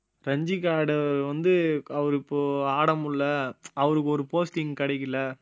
ரஞ்சிக்கு ஆடினவரு வந்து அவரு இப்போ ஆட முடியல அவருக்கு ஒரு posting கிடைக்கல